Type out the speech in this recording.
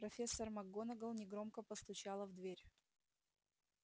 профессор макгонагалл негромко постучала в дверь